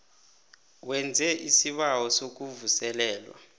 wenze isibawo sokuvuselelwa